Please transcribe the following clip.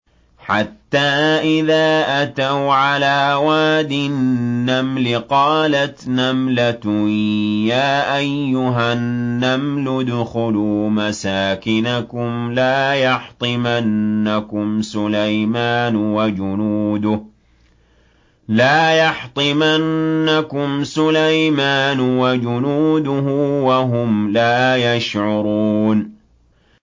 حَتَّىٰ إِذَا أَتَوْا عَلَىٰ وَادِ النَّمْلِ قَالَتْ نَمْلَةٌ يَا أَيُّهَا النَّمْلُ ادْخُلُوا مَسَاكِنَكُمْ لَا يَحْطِمَنَّكُمْ سُلَيْمَانُ وَجُنُودُهُ وَهُمْ لَا يَشْعُرُونَ